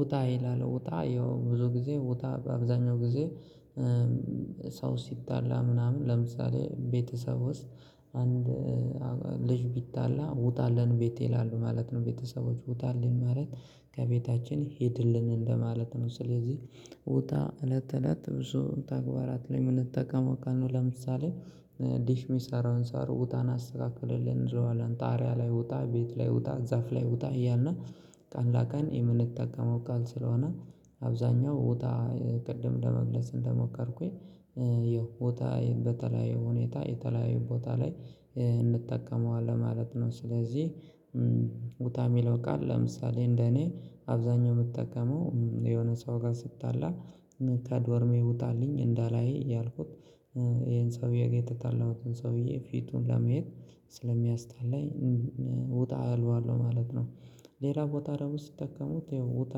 ውጣ ይላል ውጣ ያው ብዙ ጊዜ ውጣ በአብዛኛው ጊዜ ሰው ሲጣላ ምናምን ለምሳሌ ቤተሰብ ውስጥ አንድ ልጅ ቢጣላ ውጣልን ቤት ይላሉ ማለት ነው ቤተሰቦች ውጣልን ማለት ከቤታችን ሂድልን እንደማለት ነው። ስለዚህ ውጣ እለት እለት ብዙ ተግባራት ላይ የምንጠቀመው ቃል ነው። ለምሳሌ ዲሽ የሚሰራውን ሰው ውጣ እና አስተካክልልን ጣርያ ላይ ውጣ ቤት ላይ ውጣ ዛፍ ላይ ውጣ እያልን ቀን ላቀን የምንጠቀመው ቃል ስለሆነ። አብዛኛው ቦታ ቅድም ለመግለጽ እንደሞከርኩኝ ይኸው ቦታ በተለያዩ ሁኔታ የተለያዩ ቦታ ላይ እንጠቀመዋለን ማለት ነው። ስለዚህ ውጣ የሚለው ቃል ለምሳሌ እንደኔ አብዛኛው የምጠቀመው የሆነ ሰው ጋር ስጣላ ከዶርሜ ውጣልኝ እንዳላይህ እያልኩት ይሄን ሰውዬ ጋር የተጣለሁትን ሰውዬ ፊቱን ለመሄድ ስለሚያስጠላኝ ውጣ እለዋለሁ ማለት ነው። ሌላ ቦታ ደግሞ ሲጠቀሙት ይኸው ውጣ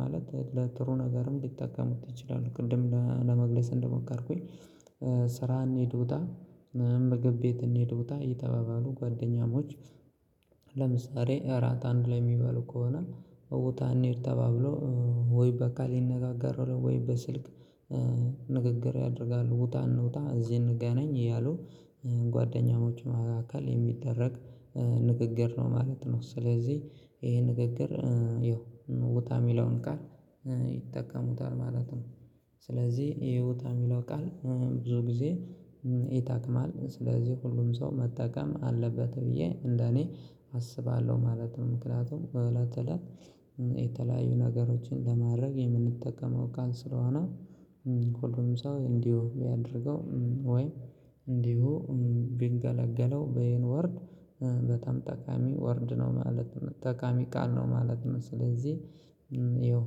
ማለት ለጥሩ ነገርም ሊጠቀሙት ይችላሉ። ቅድም ለመግለጽ እንደመኮርኩኝ ስራ እንሄድ ውጣ ና ምግብ ቤት እንሄድ ውጣ እየተባባሉ ጓደኛሞች ለምሳሌ እራት አንድ ላይ የሚበሉ ከሆነ ቦታ እኔ ተባብሎው ወይ በቃል ይነጋገራሉ ወይም በስልክ ያደርጋሉ ውጣ እንውጣ እዚህ እንገናኝ እያሉ ጓደኛሞች መሀካል የሚደረግ ንግግር ነው ማለት ነው። ስለዚህ ይሄ ንግግር ይኸው ውጣ የሚለውን ቃል ይጠቀሙታል ማለት ነው። ስለዚህ ይሄ ውጣ የሚለው ቃል ብዙ ጊዜ ይጠቅማል ስለዚህ ሁሉም ሰው መጠቀም አለበት ብዬ እንደኔ አስባለሁ። ማለትም ምክንያቱም በእለት እለት የተለያዩ ነገሮችን ለማድረግ የምንጠቀመው ቃል ስለሆነ ሁሉም ሰው እንዲሁ የሚያደርገው ወይ እንዲሁ ቢገላገለው በየን ወርድ በጣም ጠቃሚ ወርድ ነው ማለት ነው ጠቃሚ ቃል ነው ማለት ነው። ስለዚህ ይኸው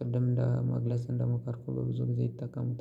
ቅድም ለመግለጽ እንደመከርኩ በብዙ ጊዜ ይጠቀሙታል